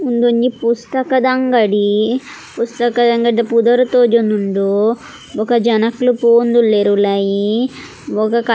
ಉಂದೊಂಜಿ ಪುಸ್ತಕದ ಅಂಗಡಿ ಪುಸ್ತಕದ ಅಂಗಡಿದ ಪುದರ್ ತೋಜೊಂದುಂಡು ಬೊಕ ಜನಕೊಲ್ ಪೋವೊಂದುಲ್ಲೆರ್ ಉಲಾಯಿ ಬೊಕ ಕತ್ತ.